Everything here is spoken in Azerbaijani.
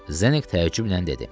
Zdenek təəccüblə dedi.